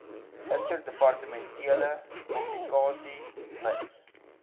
interdepartementele kommunikasie mits